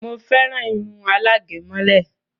Mo féràn irun alágẹ̀mọ́lẹ̀